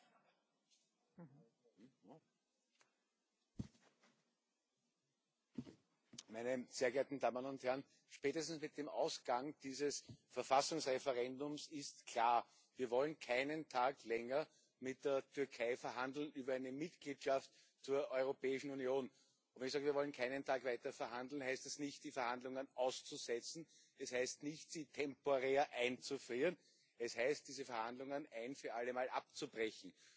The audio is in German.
Frau Präsidentin, meine sehr geehrten Damen und Herren! Spätestens mit dem Ausgang dieses Verfassungsreferendums ist klar Wir wollen keinen Tag länger mit der Türkei über eine Mitgliedschaft in der Europäischen Union verhandeln. Wenn ich sage Wir wollen keinen Tag weiter verhandeln, heißt es nicht, die Verhandlungen auszusetzen, es heißt nicht, sie temporär einzufrieren. Es heißt, diese Verhandlungen ein für allemal abzubrechen.